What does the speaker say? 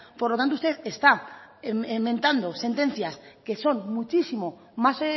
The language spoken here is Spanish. por lo tanto usted está mentando sentencias que son muchísimo más